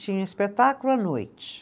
Tinha espetáculo à noite.